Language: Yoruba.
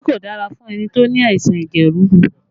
Magí kò dára fún ẹni tó ní àìsàn ẹ̀jẹ̀ ríru